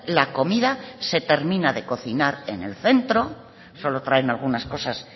la comida se termina de cocinar en el centro solo traen algunas cosas